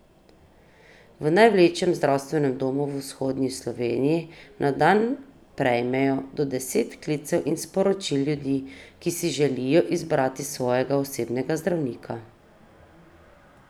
V največjem zdravstvenem domu v vzhodni Sloveniji na dan prejmejo do deset klicev in sporočil ljudi, ki si želijo izbrati svojega osebnega zdravnika.